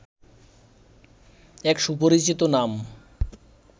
এক সুপরিচিত নাম